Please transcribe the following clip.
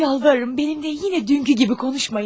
Yalvarırım, mənimlə yenə dünənki kimi danışmayın.